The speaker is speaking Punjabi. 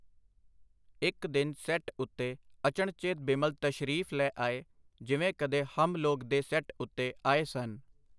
ਇਕ ਦਿਨ ਸੈੱਟ ਉਤੇ ਅਚਣਚੇਤ ਬਿਮਲ ਤਸ਼ਰੀਫ ਲੈ ਆਏ, ਜਿਵੇਂ ਕਦੇ ਹਮ ਲੋਗ ਦੇ ਸੈੱਟ ਉਤੇ ਆਏ ਸਨ.